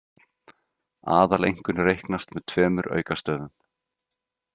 Aðaleinkunn reiknast með tveimur aukastöfum.